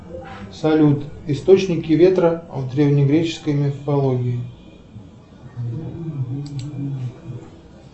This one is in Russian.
салют источники ветра в древнегреческой мифологии